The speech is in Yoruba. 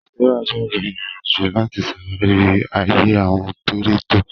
Sarah bẹ̀rẹ̀ ìrìn-àjò láti ṣàwárí ayé àwọn kírípítò